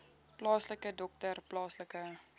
plaaslike dokter plaaslike